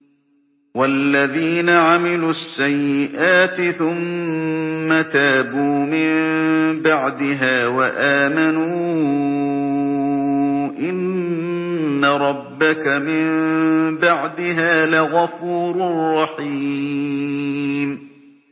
وَالَّذِينَ عَمِلُوا السَّيِّئَاتِ ثُمَّ تَابُوا مِن بَعْدِهَا وَآمَنُوا إِنَّ رَبَّكَ مِن بَعْدِهَا لَغَفُورٌ رَّحِيمٌ